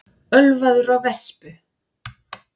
Ölvaður á vespu